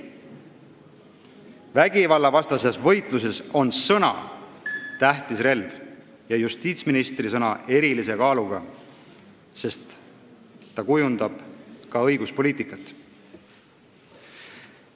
Vägivallavastases võitluses on sõna tähtis relv ja justiitsministri sõna on erilise kaaluga, sest ta kujundab ka õiguspoliitikat.